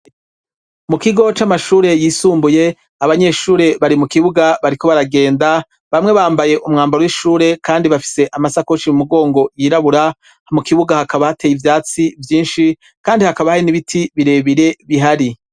Mu kigo c'amashure yisumbuye abanyeshuri bari mu kibuga bariko baragenda, bamwe bambaye umwambaro w'ishure kandi bafise amasakoshi mu mugongo yirabura, ha mu kibuga hakaba hateye ivyatsi vyinshi kandi hakaba hari n'ibiti birebire bihari.